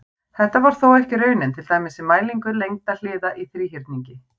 Þetta var þó ekki raunin, til dæmis við mælingu lengda hliða í þríhyrningi.